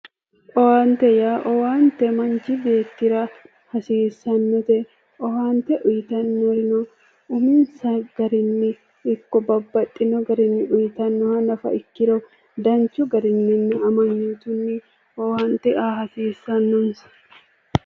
Owaante yaa owaante manchi beettira hasiissannote owaante uyitannorino umisa garinnino ikko babbaxxino garinni uyitannoha nafa ikkiro danchu garinninna amanyootunni owaante aa hasiissannonke